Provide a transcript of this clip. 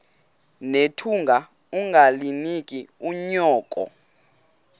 nethunga ungalinik unyoko